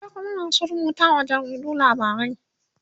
akwai Kuma masu rubutawa wa jaridu labarai.